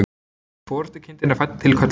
Forystukindin er fædd til köllunar.